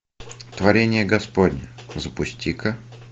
творение господня запусти ка